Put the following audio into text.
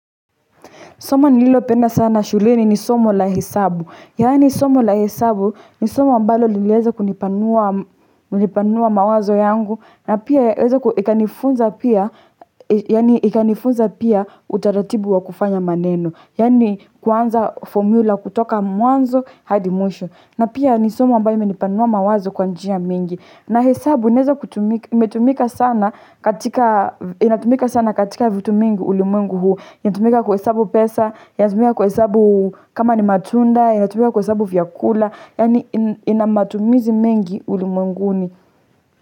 Somo nililopenda sana shuleni ni somo la hesabu. Yani somo la hesabu ni somo ambalo liliweza kunipanua mawazo yangu. Na pia weza ikanifunza pia utaratibu wa kufanya maneno. Yaani kuanza formula kutoka muanzo hadi mwisho. Na pia ni somo ambayo imenipanua mawazo kwanjia mingi. Na hesabu inatumika sana katika vitu mingi ulimwengu huu. Inatumika kuhesabu pesa, inatumika ku hesabu kama ni matunda, inatumika kuhesabu vyakula, yaani inamatumizi mengi ulimwenguni.